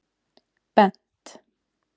Bent